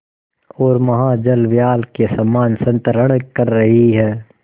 ओर महाजलव्याल के समान संतरण कर रही है